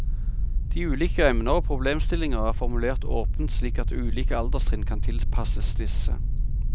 De ulike emner og problemstillinger er formulert åpent slik at ulike alderstrinn kan tilpasses disse.